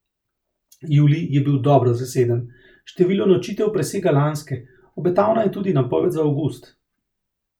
Julij je bil dobro zaseden, število nočitev presega lanske, obetavna je tudi napoved za avgust.